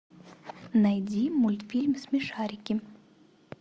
найди мультфильм смешарики